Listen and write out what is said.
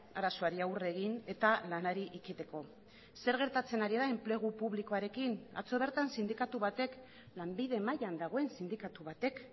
arazoari aurre egin eta lanari ekiteko zer gertatzen ari da enplegu publikoarekin atzo bertan sindikatu batek lanbide mailan dagoen sindikatu batek